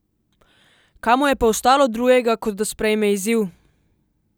Kaj mu je pa ostalo drugega kot da sprejme izziv?